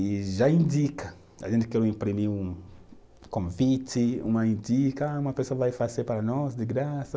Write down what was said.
E já indica, a gente quer imprimir um convite, uma indica, ah uma pessoa vai fazer para nós de graça.